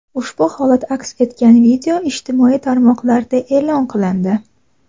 Ushbu holat aks etgan video ijtimoiy tarmoqlarda e’lon qilindi.